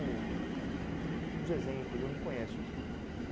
Uns exemplos, eu não conheço assim.